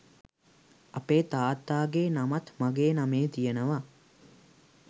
අපේ තාත්තා ගේ නමත් මගේ නමේ තියෙනවා